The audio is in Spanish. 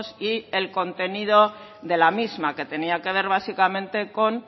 y el contenido de la misma que tenía que ver básicamente con